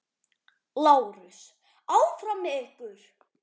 LÁRUS: Áfram með ykkur!